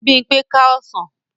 Bímpé ká ọsàn